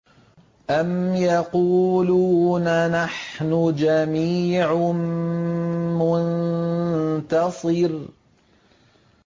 أَمْ يَقُولُونَ نَحْنُ جَمِيعٌ مُّنتَصِرٌ